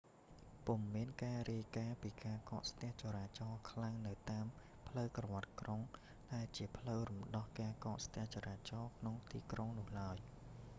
ពុំមានការរាយការណ៍ពីការកកស្ទះចរាចរខ្លាំងនៅតាមផ្លូវក្រវាត់ក្រុង ដែលជាផ្លូវរំដោះការកកស្ទះចរាចរក្នុងក្រុងនោះឡើយ